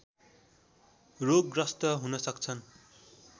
रोगग्रस्त हुन सक्छन्